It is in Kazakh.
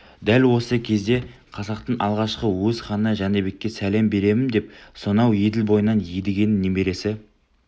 дәл осы кезде қазақтың алғашқы өз ханы жәнібекке сәлем беремін деп сонау еділ бойынан едігенің немересі